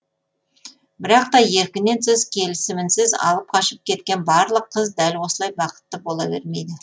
бірақ та еркінен тыс келісімінсіз алып қашып кеткен барлық қыз дәл осылай бақытты бола бермейді